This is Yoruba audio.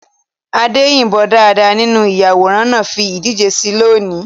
Ade yìnbọn dáadáa nínú ìyàwòrán náà fi ìdíje sí i lónìí.